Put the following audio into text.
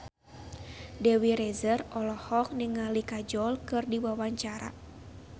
Dewi Rezer olohok ningali Kajol keur diwawancara